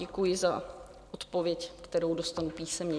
Děkuji za odpověď, kterou dostanu písemně.